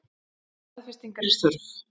Staðfestingar er þörf.